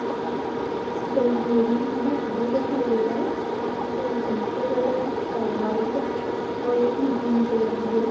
इस तस्बीर मैं हमें घर दिखाई दे रहा है इस घर का कलर वाइट है और इसमें ग्रीन कलर भी है।